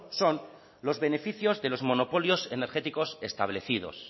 son los beneficios de los monopolios energéticos establecidos